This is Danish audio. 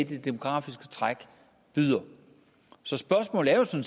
det demografiske træk byder så spørgsmålet er jo